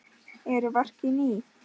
Eru verkin ný?